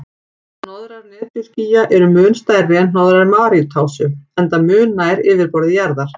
Hnoðrar netjuskýja eru mun stærri en hnoðrar maríutásu, enda mun nær yfirborði jarðar.